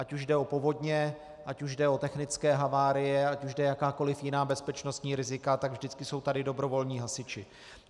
Ať už jde o povodně, ať už jde o technické havárie, ať jde o jakákoliv jiná bezpečnostní rizika, tak vždycky jsou tady dobrovolní hasiči.